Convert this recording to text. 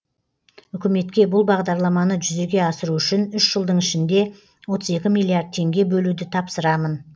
үкіметке бұл бағдарламаны жүзеге асыру үшін үш жылдың ішінде отыз екі миллиард теңге бөлуді тапсырамын